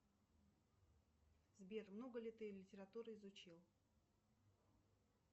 сбер много ли ты литературы изучил